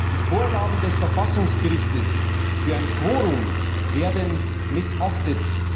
Die Vorgaben des Verfassungsgerichts für ein Quorum werden missachtet.